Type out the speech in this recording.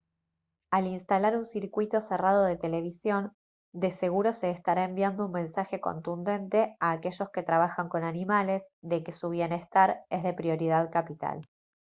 «al instalar un circuito cerrado de televisión de seguro se estará enviando un mensaje contundente a aquellos que trabajan con animales de que su bienestar es de prioridad capital»